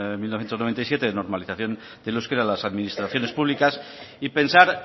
mil novecientos noventa y siete de normalización del euskera en las administraciones públicas y pensar